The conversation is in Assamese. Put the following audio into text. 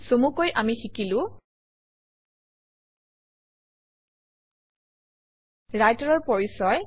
চমুকৈ আমি শিকিলো ৰাইটাৰৰ পৰিচয়